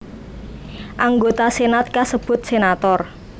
Anggota senat kasebut senator